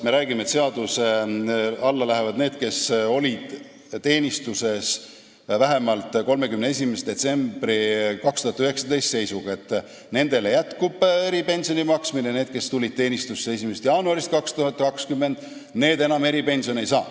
Need, kes on teenistuses vähemalt 31. detsembri 2019. aasta seisuga, saavad eripensioni edasi, ja need, kes tulevad teenistusse alates 1. jaanuarist 2020, seda enam ei saa.